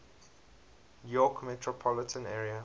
york metropolitan area